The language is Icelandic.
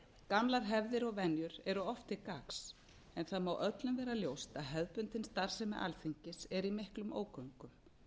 gamlar hefðir og venjur eru oft til gagns en það má öllum vera ljóst að hefðbundin starfsemi alþingis er í miklum ógöngum